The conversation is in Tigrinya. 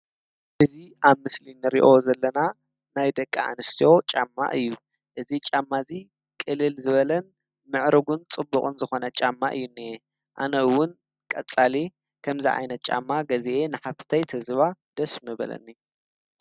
እዚ ኣብ ምስሊ ንሪኦ ዘለና ናይ ደቂ ኣንስትዮ ጫማ እዩ፡፡ እዚ ጫማ እዚ ቅልል ዝበለ ምዕሩጉን ፅቡቕን ዝኮነ ጫማ እዩ እኒአ። ኣነ እዉን ቀፃሊ ከምዚ ዓይነት ጫማ ገዚአ ንሓፍተይ ተዝባ ደስ ምበለኒ፡፡